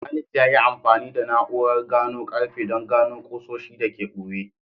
Khalid ya yi amfani da na’urar gano karfe don gano ƙusoshi da ke ɓoye.